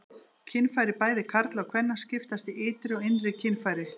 Kynfæri bæði karla og kvenna skiptast í ytri og innri kynfæri.